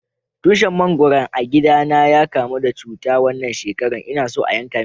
Tushin mangoron a gida na ya kamu da cuta wanan shekaran, n'na son yanka shi.